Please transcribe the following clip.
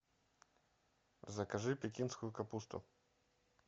закажи пекинскую капусту